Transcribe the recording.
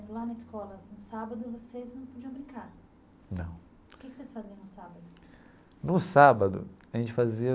Lá na escola, no sábado, vocês não podiam brincar. Não. O que que vocês faziam no sábado? No sábado a gente fazia.